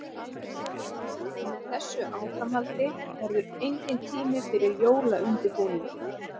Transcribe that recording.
Með þessu áframhaldi verður enginn tími fyrir jólaundirbúning.